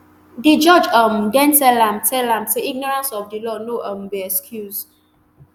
di judge um den tell am tell am say ignorance of di law no um be excuse